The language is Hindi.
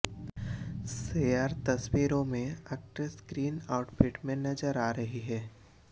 शेयर तस्वीरों में एक्ट्रेस ग्रीन आउटफिट में नजर आ रही है